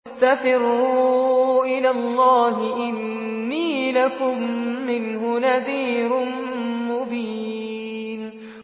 فَفِرُّوا إِلَى اللَّهِ ۖ إِنِّي لَكُم مِّنْهُ نَذِيرٌ مُّبِينٌ